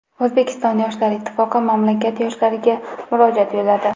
O‘zbekiston yoshlar ittifoqi mamlakat yoshlariga murojaat yo‘lladi.